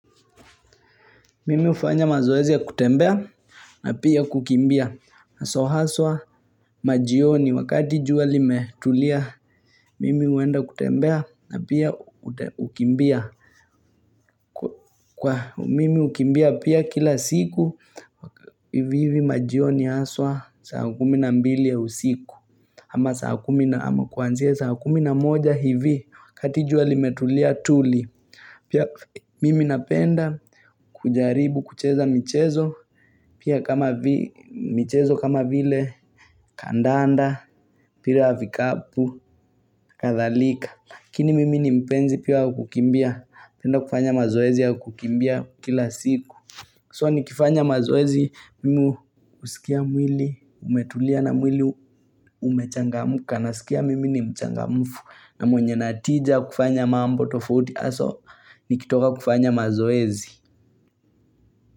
Mimi hufanya mazoezi ya kutembea na pia kukimbia. So haswa majioni wakati jua limetulia, mimi huenda kutembea na pia kukimbia. Kwa mimi hukimbia pia kila siku, hivi hivi majioni haswa saa kumi na mbili ya usiku. Ama saa kumi na, ama kuanzia saa kumi na moja hivi wakati jua limetulia tuli. Pia mimi napenda kujaribu kucheza michezo pia kama michezo kama vile kandanda mpira wa vikapu kadhalika Lakini mimi ni mpenzi pia kukimbia napenda kufanya mazoezi ya kukimbia kila siku So nikifanya mazoezi mimi husikia mwili umetulia na mwili umechangamka nasikia mimi ni mchangamfu na mwenye ninatija kufanya mambo tofauti nikitoka kufanya mazoezi.